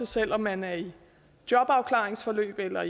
selv om man er i et jobafklaringsforløb eller